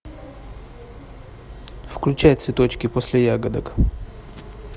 включай цветочки после ягодок